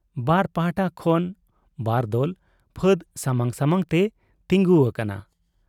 ᱵᱟᱨ ᱯᱟᱦᱴᱟ ᱠᱷᱚᱱ ᱵᱟᱨᱫᱚᱞ ᱯᱷᱟᱫᱽ ᱥᱟᱢᱟᱝ ᱥᱟᱢᱟᱝ ᱛᱮ ᱛᱤᱸᱜᱩ ᱟᱠᱟᱱᱟ ᱾